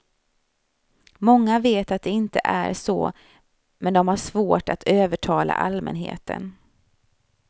Många vet att det inte är så men de har svårt att övertala allmänheten.